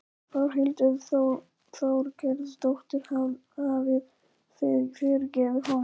Þórhildur Þorkelsdóttir: Hafið þið fyrirgefið honum?